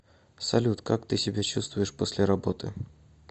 салют как ты себя чувствуешь после работы